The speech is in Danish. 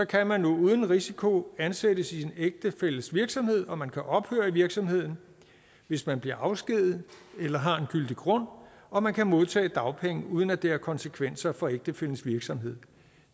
kan man nu uden risiko ansættes i sin ægtefælles virksomhed og man kan ophøre i virksomheden hvis man bliver afskediget eller har en gyldig grund og man kan modtage dagpenge uden at det har konsekvenser for ægtefællens virksomhed